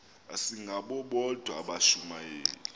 asingabo bodwa abashumayeli